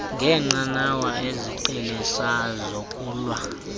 ngenqanawa iziqheliso zokulwa